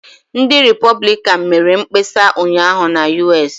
Ndị Repọblikan mere mkpesa ụnyaahụ na USA.